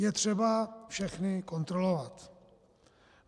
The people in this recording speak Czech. Je třeba všechny kontrolovat.